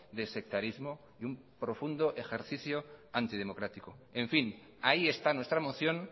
de sectarismo y un profundo ejercicio antidemocrático en fin ahí está nuestra moción